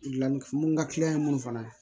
Dilan mun ka kiliyan ye mun fana ye